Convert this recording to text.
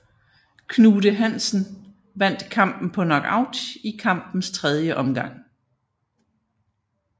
Knute Hansen vandt kampen på knockout i kampens tredje omgang